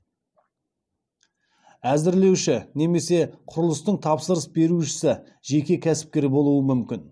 әзірлеуші немесе құрылыстың тапсырыс берушісі жеке кәсіпкер болуы мүмкін